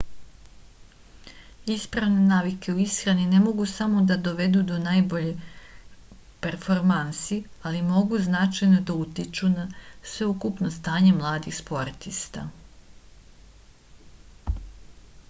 ispravne navike u išrani ne mogu same da dovedu do najboljih performansi ali mogu da značajno utiču na sveukupno stanje mladih sportista